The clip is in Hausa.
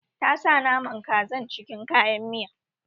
Ta sa naman kazan cikin kayan miya